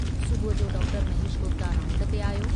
सुबुह जो doctor Mahesh Gupta round ते आयो।